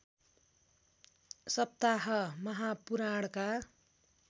सप्ताह महापुराणका